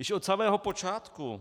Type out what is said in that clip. Již od samého počátku